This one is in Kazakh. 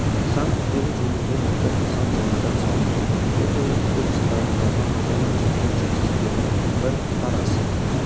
нысан күрделі жөндеуден өтіп нысан жаңадан салынды бұл тәуелсіздік жылдарындағы ауданның жеткен жетістіктерінің бір парасы